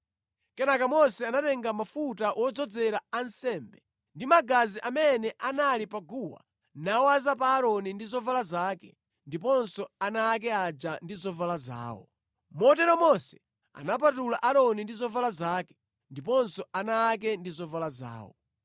Kenaka Mose anatenga mafuta wodzozera ansembe ndi magazi amene anali pa guwa nawaza pa Aaroni ndi zovala zake ndiponso ana ake aja ndi zovala zawo. Motero Mose anapatula Aaroni ndi zovala zake, ndiponso ana ake ndi zovala zawo.